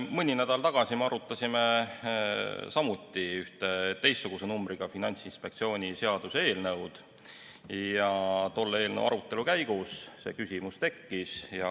Mõni nädal tagasi me arutasime ühe teistsuguse numbriga Finantsinspektsiooni seaduse eelnõu ja tolle eelnõu arutelu käigus see küsimus tekkis.